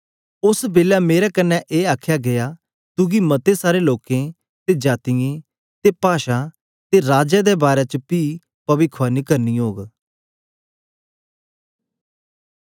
ओस बेलै मेरे कन्ने ए आखया गीया तुगी मते सारे लोकें ते जातीयें ते पाषां ते राजाओं दे बारै च पी पविखवाणी करनी ओग